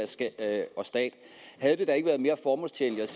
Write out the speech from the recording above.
og stat havde det da ikke været mere formålstjenligt